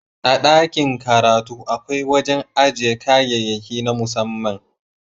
A dakin karatu akwai wajen aje kayayyaki na musamman.